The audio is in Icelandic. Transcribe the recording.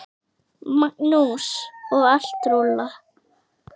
Magnús: Og allt rúllað?